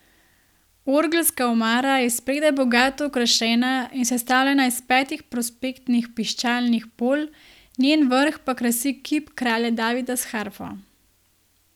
Orgelska omara je spredaj bogato okrašena in sestavljena iz petih prospektnih piščalnih polj, njen vrh pa krasi kip kralja Davida s harfo.